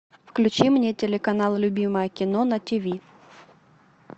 включи мне телеканал любимое кино на тиви